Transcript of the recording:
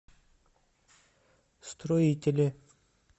строителе